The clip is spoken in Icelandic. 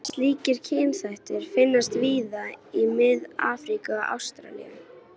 Slíkir kynþættir finnast víða í Mið-Afríku og Ástralíu.